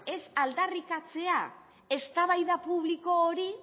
ez aldarrikatzea eztabaidatzea eztabaida publiko hori